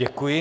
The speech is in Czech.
Děkuji.